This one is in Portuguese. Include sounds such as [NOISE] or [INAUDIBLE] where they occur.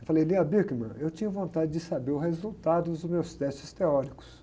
Eu falei, [UNINTELLIGIBLE] eu tinha vontade de saber o resultado dos meus testes teóricos.